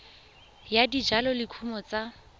ya dijalo le dikumo tsa